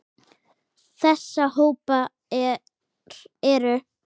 Þessa hópar eru